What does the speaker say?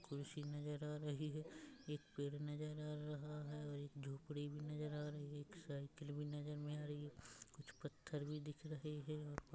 कुर्सी नज़र आ रही है एक पेड़ नज़र आ रहा है और एक झोपड़ी भी नज़र आ रही एक साइकिल भी नज़र मे आ रही है कुछ पत्थर भी दिख रहे है।